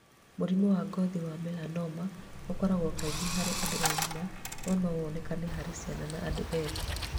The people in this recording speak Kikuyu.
Mũrimũ wa ngothi wa melanoma ũkoragwo kaingĩ harĩ andũ agima, no no woneke harĩ ciana na andũ ethĩ.